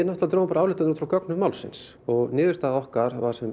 drógum ályktanir út frá gögnum málsins og niðurstaða okkar var sú